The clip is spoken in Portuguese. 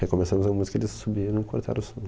Recomeçamos a música e eles subiram e cortaram o som.